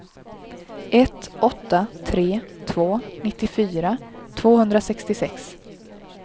ett åtta tre två nittiofyra tvåhundrasextiosex